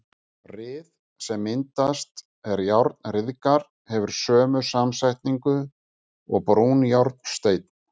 Ryð, sem myndast er járn ryðgar, hefur sömu samsetningu og brúnjárnsteinn.